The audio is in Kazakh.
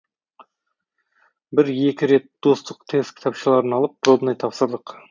бір екі рет достық тест кітапшаларын алып пробный тапсырдық